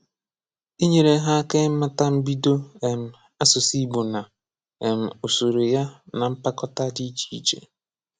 Ínyèrè ha aka ịmàtà mbìdò um àsụ̀sụ̀ Ìgbò na um ụ̀sọ̀rụ̀ ya na mpàkòṭa dị iche iche.